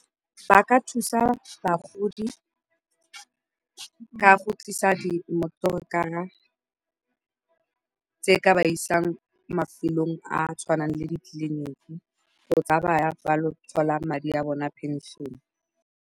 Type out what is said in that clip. Ba ka thusa bagodi ka go tlisa dimotorokara tse di ka ba isang mafelong a a tshwanang le ditleliniki, kgotsan fa ba ya go thola madi a bona a pension-e.